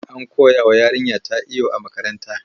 An koyawa yarinyata iyo a makaranta.